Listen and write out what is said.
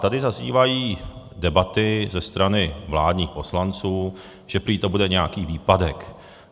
Tady zaznívají debaty ze strany vládních poslanců, že prý to bude nějaký výpadek.